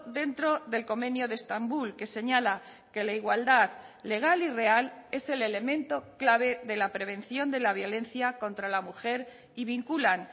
dentro del convenio de estambul que señala que la igualdad legal y real es el elemento clave de la prevención de la violencia contra la mujer y vinculan